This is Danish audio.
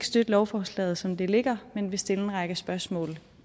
støtte lovforslaget som det ligger men vi vil stille en række spørgsmål